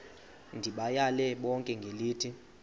ndibayale bonke ngelithi